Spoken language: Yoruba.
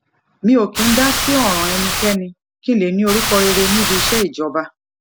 mi ò kì í dá sí òràn ẹnikéni kí n lè ní orúkọ rere níbi iṣé ìjọba